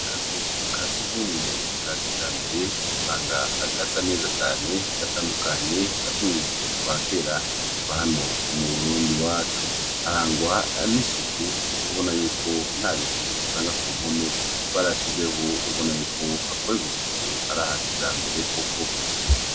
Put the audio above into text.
Akazu kasugumwe kakijambere usanga gasa neza cane gatandukanye natumwe twakera twahano mu burundi iwacu harangwa nisuku kukubonayuko ntabintu usanga kumpome barashizeho ubonayuko hakorerwa isuku arahakijambere koko